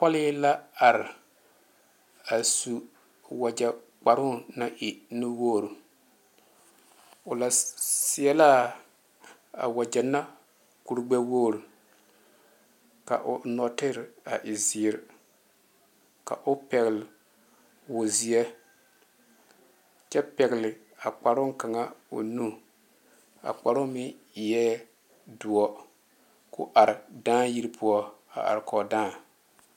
Pole la are a su wagye kparo naŋ e nu wogre o lɛ seɛ la a wagye na kur gbe wogre ka o nɔɔtere a e ziiri ka o pegle woɔ ziɛ kyɛ pegle a kparo kaŋa o nu a kparo meŋ eŋe doɔ ko are dãã yiri poɔ a are kɔge dãã.